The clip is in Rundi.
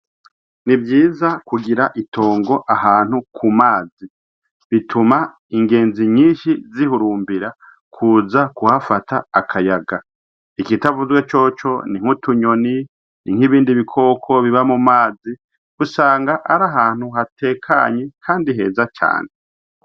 Ni vyiza kugira itongo ahantu ku mazi. Bituma ingenzi nyinshi zihurumbira kuza kuhafata akayaga. Ikitavuzwe coco ni nk'utunyoni n'ibindi bikoko biba mu mazi, usanga ari ahantu hatekanye kandi heza cane.